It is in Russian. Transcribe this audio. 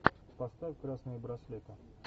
поставь красные браслеты